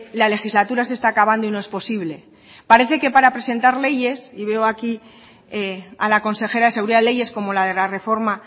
la legislatura se está acabando y no es posible parece que para presentar leyes y veo aquí a la consejera de seguridad leyes como la de la reforma